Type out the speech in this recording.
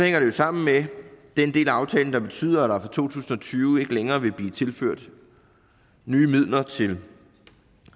jo sammen med den del af aftalen der betyder at der tusind og tyve ikke længere vil blive tilført nye midler til